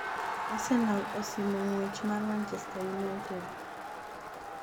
Arsenal osimo ng'wech mar Manchester United